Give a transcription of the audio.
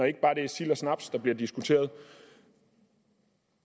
ikke bare er sild og snaps der bliver diskuteret